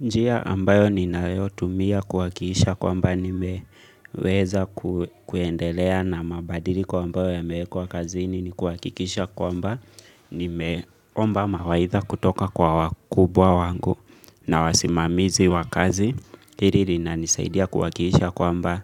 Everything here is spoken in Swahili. Njia ambayo ninayotumia kuhakikisha kwamba nimeweza kuendelea na mabadiliko ambayo yamewekwa kazini ni kuhakikisha kwamba nimeomba mawaidha kutoka kwa wakubwa wangu na wasimamizi wa kazi. Hili linanisaidia kuhakikisha kwamba